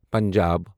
Punjab